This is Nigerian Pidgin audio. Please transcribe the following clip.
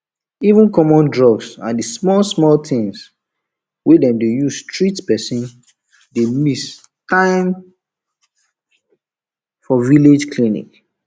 even common drugs and the smallsmall things wey dem dey use treat person dey miss many times for village clinic